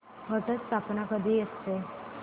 घट स्थापना कधी असते